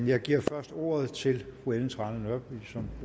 jeg giver først ordet til fru ellen trane nørby som